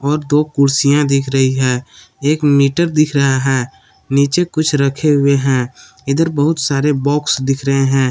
और दो कुर्सियां दिख रही है एक मीटर दिख रहा है। नीचे कुछ रखे हुए हैं इधर बहुत सारे बॉक्स दिख रहे हैं।